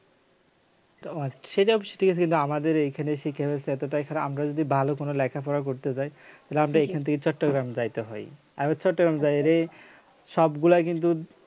সেটাও ঠিক আছে কিন্তু আমাদের এখানে এসে কি হচ্ছে এতটাই খারাপ আমরা যদি ভালো কোন লেখাপড়া করতে চাই তাহলে আপনাকে এখান থেকে চট্টগ্রামে চাইতে হয় আর হচ্ছে চট্টগ্রাম যায়রে সবগুলাই কিন্তু